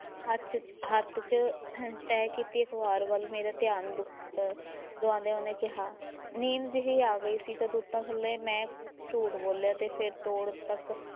ਹੱਥ ਹੱਥ ‘ਚ ਤਹਿ ਕੀਤੀ ਅਖ਼ਬਾਰ ਵੱਲ਼ ਮੇਰਾ ਧਿਆਨ ਦੁ~ ਅਹ ਦੁਆਦਿਆਂ ਉਹਨੇ ਕਿਹਾ, ਨੀਂਦ ਜਿਹੀ ਆ ਗਈ ਸੀ ਤਾਂ ਤੂਤਾਂ ਥੱਲੇ ਮੈਂ ਝੂਠ ਬੋਲਿਆ ਤੇ ਫਿਰ ਤੋੜ ਤੱਕ